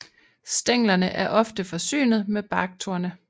Stænglerne er ofte forsynet med barktorne